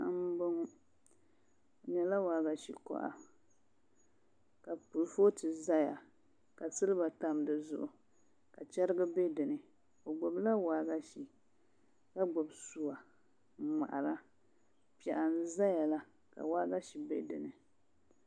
Paɣa n boŋo o nyɛla waagashe koha ka kurifooti ʒɛya ka silba tam di zuɣu ka chɛrigi bɛ dinni o gbubila waagashe ka gbubi suwa n ŋmahara piɛɣu n ʒɛya la ka waagashe bɛ dinni